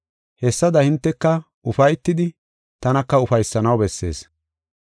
Hessada hinteka ufaytidi tanaka ufaysanaw bessees.